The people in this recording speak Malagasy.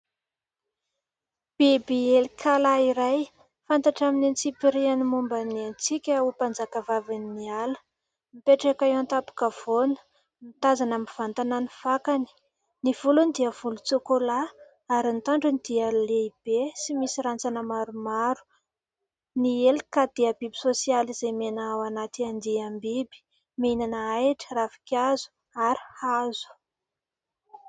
Biby " elikala" iray fantatra amin'ny antsipiriany momba ny antsika ho mpanjakavavin'ny ala, mipetraka eo an-tapokavoana, ny tazana amin'ny vantana, ny fakany sy ny volony dia volotsokola ary nitandrony dia lehibe sy misy rantsana maromaro ny" elikala" dia biby sosialy izay mena ao anaty andiambiby minana ahitra ravikazo ary hazo.